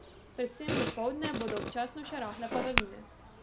Predvsem dopoldne bodo občasno še rahle padavine.